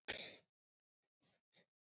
Svo er í ár.